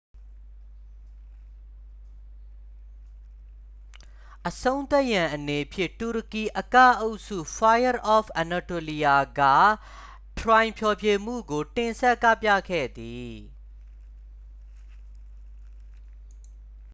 "အဆုံးသတ်ရန်အနေဖြင့် တူရကီအကအုပ်စု fire of anatolia က "ထရိုင်" ဖျော်ဖြေမှုကို တင်ဆက်ကပြခဲ့သည်။